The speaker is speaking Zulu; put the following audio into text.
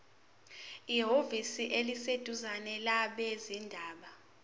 ehhovisi eliseduzane labezindaba